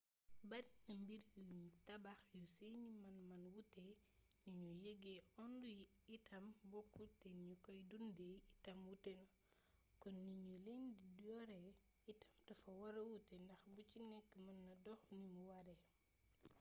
barina mbir yuñ tabax yu seeni man-man wuute ni ñuy yëgee onde yi itam bokkul te ni ñu koy dundee itam wuute na kon ni ñuy leen di yoree itam dafa wara wuute ndax bu ci nekk mëna dox nimu waree